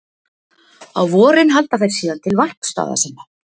Á vorin halda þeir síðan til varpstaða sinna.